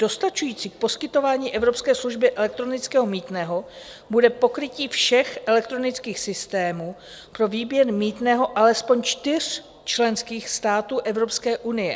Dostačující k poskytování evropské služby elektronického mýtného bude pokrytí všech elektronických systémů pro výběr mýtného alespoň čtyř členských států Evropské unie.